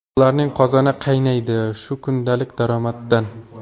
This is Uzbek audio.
Ularning qozoni qaynaydi shu kundalik daromaddan.